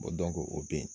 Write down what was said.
o bɛ yen